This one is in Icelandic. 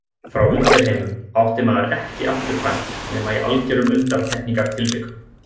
Frá undirheimum átti maður ekki afturkvæmt nema í algerum undantekningartilvikum.